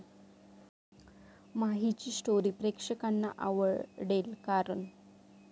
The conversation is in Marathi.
माहीची स्टोरी प्रेक्षकांना आवडेल, कारण...